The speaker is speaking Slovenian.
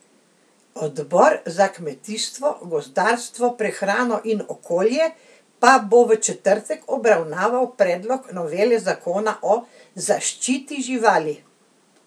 Odbor za kmetijstvo, gozdarstvo, prehrano in okolje pa bo v četrtek obravnaval predlog novele zakona o zaščiti živali.